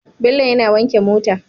Bello yAna wanke mota